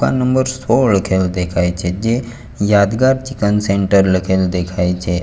આ નંબર સોળ કે એવો દેખાય છે જે યાદગાર ચિકન સેન્ટર લખેલ દેખાય છે.